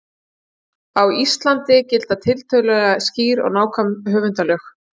Á Íslandi gilda tiltölulega skýr og nákvæm höfundalög.